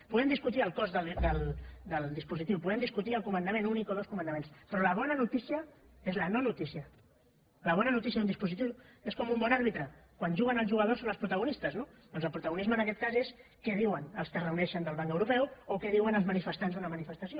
podem discutir el cost del dispositiu podem discutir el comandament únic o dos comandaments però la bona notícia és la no notícia la bona notícia d’un dispositiu és com un bon àrbitre quan juguen els jugadors són els protagonistes no doncs el protagonisme en aquest cas és què diuen els que es reuneixen del banc europeu o què diuen els manifestants d’una manifestació